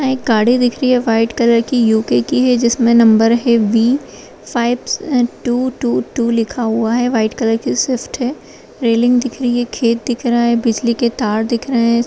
यहाँ एक गाड़ी दिख रही है व्हाइट कलर कि यू.के कि है जिसमें नंबर है बी फाइव स-टू टू टू लिखा हुआ है व्हाइट कलर की स्विफ्ट है रैलिंग दिख रही है खेत दिख रहा है बिजली के तार दिख रहे हैं।